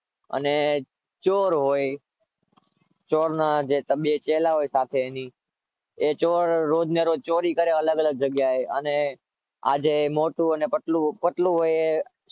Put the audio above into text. અને ચોર હોય ચોરના બે ચેલા હોય સાથે એની એ ચોર રોજને રોજ ચોરી કરે અલગ અલગ જગ્યાએ અને આ જે મોટું અને પતલું પતલું હોય